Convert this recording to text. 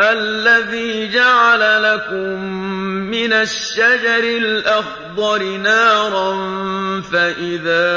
الَّذِي جَعَلَ لَكُم مِّنَ الشَّجَرِ الْأَخْضَرِ نَارًا فَإِذَا